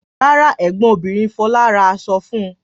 Rárá, ẹ̀gbọ́n obìnrin Fọlá ra aṣọ fún un.